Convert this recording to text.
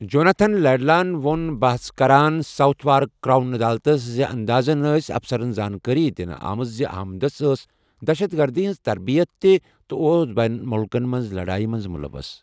Jonathan Laidlaw, وۄن بحس كران ، ساوُتھ وارک کرٛاوُن عدالتس زِانٛدازن ٲس افسَرن زانٛکٲری دِنہٕ آمٕژ زِ احمدس ٲس دہشت گردی ہِنٛز تربِیت تہِ تہٕ اوس بین مُلکن منز ، لَڑایہِ منٛز مُلَوث۔